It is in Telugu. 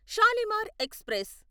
షాలిమార్ ఎక్స్ప్రెస్